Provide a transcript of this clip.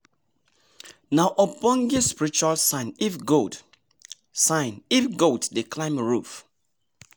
nah ogbonge spiritual sign if goat sign if goat dey climb roof